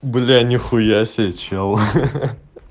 бля нихуя себе чел ха-ха